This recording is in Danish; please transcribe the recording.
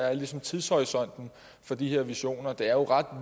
er ligesom tidshorisonten for de her visioner det er jo ret